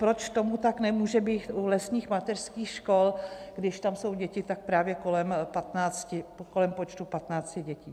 Proč tomu tak nemůže být u lesních mateřských škol, když tam jsou děti tak právě kolem počtu 15 dětí?